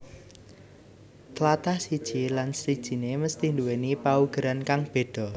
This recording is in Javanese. Tlatah siji lan sijine mesthi duwéni paugeran kang beda